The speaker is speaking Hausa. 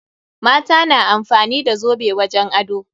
Mata na amfani da zobe wajen ado.